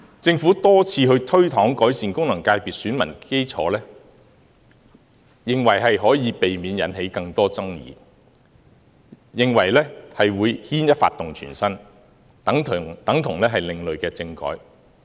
政府多次推搪改善功能界別的選民基礎，認為這樣可以避免引起更多爭議，亦怕牽一髮動全身，等同另類政改。